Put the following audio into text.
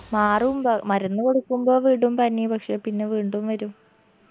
മാറും മ്പോ മരുന്ന് കൊടുക്കുമ്പോ വിടും പനി പക്ഷെ പിന്ന വീണ്ടും വരും